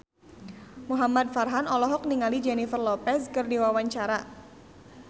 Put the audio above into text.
Muhamad Farhan olohok ningali Jennifer Lopez keur diwawancara